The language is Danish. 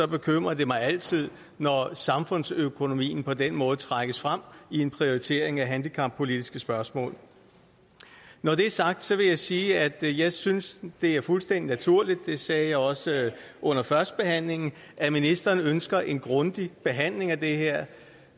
bekymrer mig altid når samfundsøkonomien på den måde trækkes frem i en prioritering af handicappolitiske spørgsmål når det er sagt vil jeg sige at jeg synes det er fuldstændig naturligt det sagde jeg også under førstebehandlingen at ministeren ønsker en grundig behandling af det her